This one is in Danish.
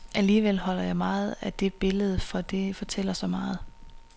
Alligevel holder jeg meget af netop det billede, for det fortæller så meget.